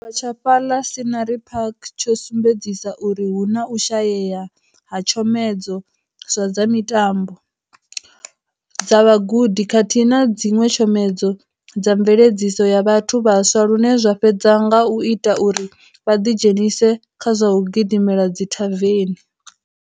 Tshi tshavha tsha fhaḽa Scenery Park tsho sumbedzisa uri hu na u shayea ha tshomedzo dza zwa mitambo, dza vhugudi khathihi na dziṅwe tshomedzo dza mveledziso ya vhathu vhaswa lune zwa fhedza nga u ita uri vha ḓi dzhenise kha zwa u gidimela dzithaveni.